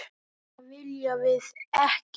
Það viljum við ekki.